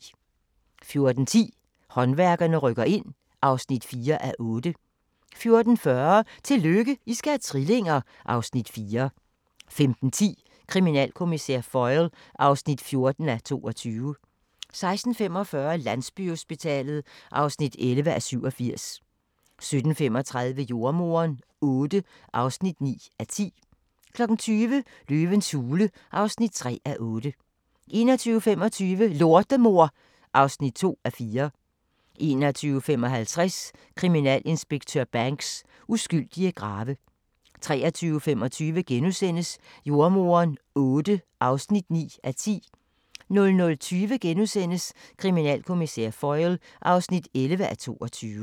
14:10: Håndværkerne rykker ind (4:8) 14:40: Tillykke, I skal have trillinger! (Afs. 4) 15:10: Kriminalkommissær Foyle (14:22) 16:45: Landsbyhospitalet (11:87) 17:35: Jordemoderen VIII (9:10) 20:00: Løvens hule (3:8) 21:25: Lortemor (2:4) 21:55: Kriminalinspektør Banks: Uskyldige grave 23:25: Jordemoderen VIII (9:10)* 00:20: Kriminalkommissær Foyle (11:22)*